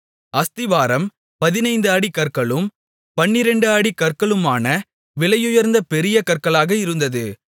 அஸ்திபாரம் 15 அடி கற்களும் 12 அடி கற்களுமான விலையுயர்ந்த பெரிய கற்களாக இருந்தது